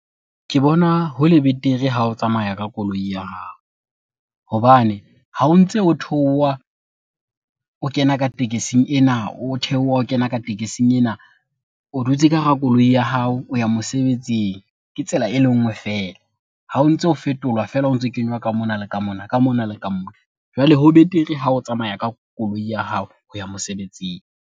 Ke bona hole betere ha o tsamaya ka koloi ya hao hobane ha o ntse o theoha o kena ka tekesing ena, o theoha o kena ka tekesing ena. O dutse ka hara koloi ya hao o ya mosebetsing, ke tsela e le nngwe feela. Ha o ntso fetolwa feela, o ntso kenywa ka mona le ka mona, ka mona le ka mona. Jwale ho betere ha o tsamaya ka koloi ya hao ho ya mosebetsing.